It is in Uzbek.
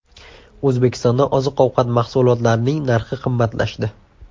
O‘zbekistonda oziq-ovqat mahsulotlarining narxi qimmatlashdi.